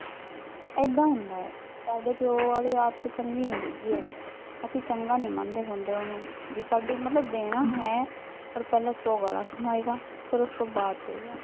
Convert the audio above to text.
ਏਦਾ ਹੁੰਦਾ ਐ ਸਾਡੇ ਪਿਓ ਆਲੀ ਆਦਤ ਚੰਗੀ ਨੀ ਹੈਗੀ ਐ ਅਸੀਂ ਚੰਗਾ ਨੀ ਮਨਦੇ ਹੁੰਦੇ ਉਹਨੂੰ, ਵੀ ਸਾਡੀ ਮਤਲਬ ਦੇਣਾ ਹੈ ਪਰ ਪਹਿਲਾਂ ਸੌ ਗਾਲਾ ਸੁਣਾਏਗਾ ਫਿਰ ਉਸਤੋਂ ਬਾਦ ਦਏਗਾ